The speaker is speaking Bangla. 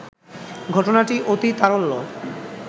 ঘটনাটি অতিতারল্য